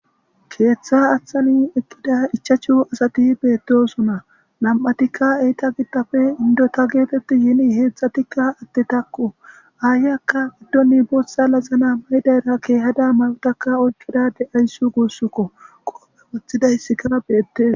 keeththa aththani ekkida ichachu asati beettosona nam7atikka eyta gidtafe indota geetetti yiini heexxatikka atte takku aayyakka guddoni boothsa lazana maydayra keehada ma7otaka ochodade ayssi guussukko qoopphe wothidaysi kana beettes.